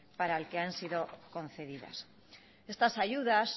para el que han sido concedidas estas ayudas